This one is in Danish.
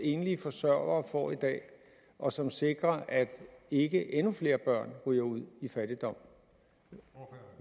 enlige forsørgere får i dag og som sikrer at ikke endnu flere børn ryger ud i fattigdom